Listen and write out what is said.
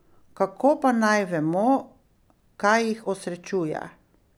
Kako pa naj vemo, kaj jih osrečuje?